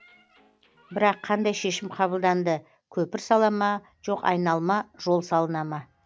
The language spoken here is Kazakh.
бірақ қандай шешім қабылданды көпір сала ма жоқ айналма жол салына ма